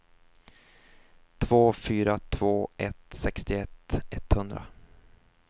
två fyra två ett sextioett etthundra